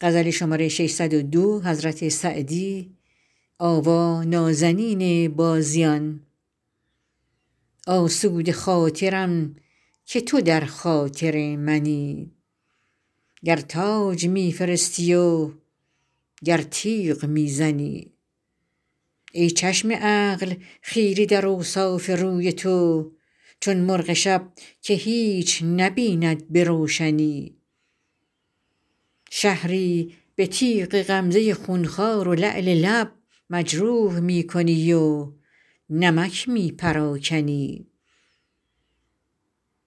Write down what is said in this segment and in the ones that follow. آسوده خاطرم که تو در خاطر منی گر تاج می فرستی و گر تیغ می زنی ای چشم عقل خیره در اوصاف روی تو چون مرغ شب که هیچ نبیند به روشنی شهری به تیغ غمزه خونخوار و لعل لب مجروح می کنی و نمک می پراکنی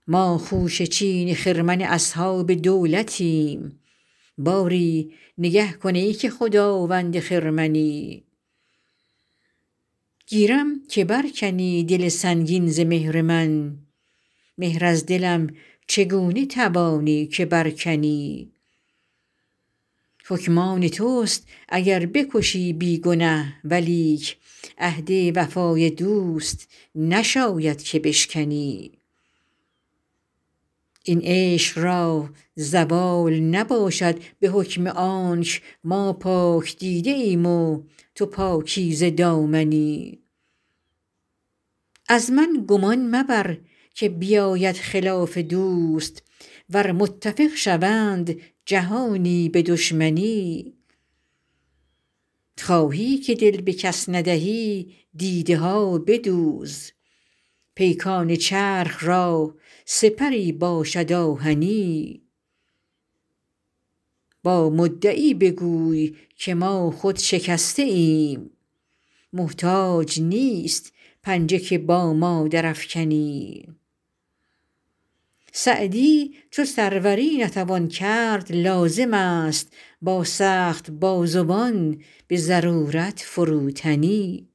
ما خوشه چین خرمن اصحاب دولتیم باری نگه کن ای که خداوند خرمنی گیرم که بر کنی دل سنگین ز مهر من مهر از دلم چگونه توانی که بر کنی حکم آن توست اگر بکشی بی گنه ولیک عهد وفای دوست نشاید که بشکنی این عشق را زوال نباشد به حکم آنک ما پاک دیده ایم و تو پاکیزه دامنی از من گمان مبر که بیاید خلاف دوست ور متفق شوند جهانی به دشمنی خواهی که دل به کس ندهی دیده ها بدوز پیکان چرخ را سپری باشد آهنی با مدعی بگوی که ما خود شکسته ایم محتاج نیست پنجه که با ما درافکنی سعدی چو سروری نتوان کرد لازم است با سخت بازوان به ضرورت فروتنی